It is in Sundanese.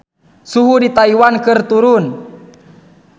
Suhu di Taiwan keur turun